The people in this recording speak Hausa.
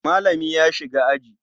Malami ya shiga aji.